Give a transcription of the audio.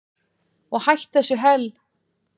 Og hætt þessu hel